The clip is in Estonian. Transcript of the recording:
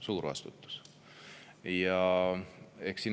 Suur vastutus!